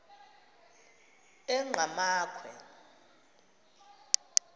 engqamakhwe